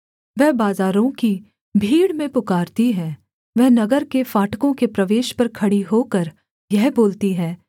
वह बाजारों की भीड़ में पुकारती है वह नगर के फाटकों के प्रवेश पर खड़ी होकर यह बोलती है